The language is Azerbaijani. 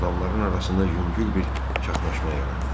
Adamların arasında yüngül bir çaşnaşma yarandı.